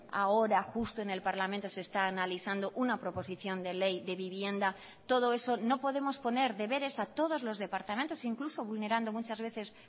ahora justo en el parlamento se está analizando una proposición de ley de vivienda todo eso no podemos poner deberes a todos los departamentos incluso vulnerando muchas veces